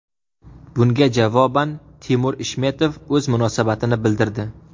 Bunga javoban Timur Ishmetov o‘z munosabatini bildirdi.